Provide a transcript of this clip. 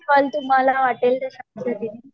तुम्हाला वाटेल त्या